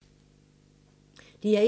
DR1